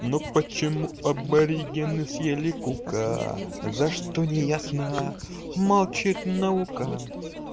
ну почему аборигены съели кука за что неясно молчит наука